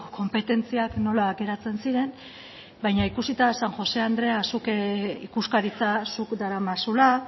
konpetentziak nola geratzen ziren baina ikusita san josé andrea zuk ikuskaritza zuk daramazula